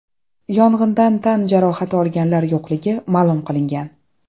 Yong‘indan tan jarohati olganlar yo‘qligi ma’lum qilingan.